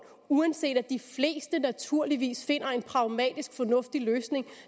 uanset at de fleste naturligvis finder en pragmatisk fornuftig løsning